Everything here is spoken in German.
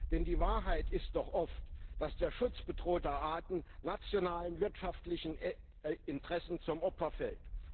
Denn die Wahrheit ist doch oft, dass der Schutz bedrohter Arten nationalen wirtschaftlichen Interessen zum Opfer fällt.